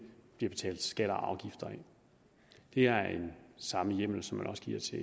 bliver betalt skatter og afgifter af det er samme hjemmel som man også giver til